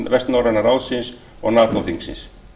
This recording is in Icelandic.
vestnorræna ráðsins og nato þingsins